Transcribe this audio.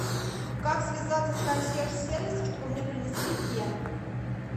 как связаться с консьерж сервисом чтобы мне принесли фен